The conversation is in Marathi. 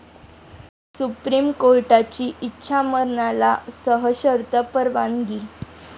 सुप्रीम कोर्टाची इच्छामरणाला सशर्त परवानगी